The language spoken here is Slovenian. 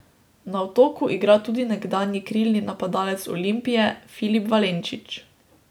Na Otoku igra tudi nekdanji krilni napadalec Olimpije Filip Valenčič.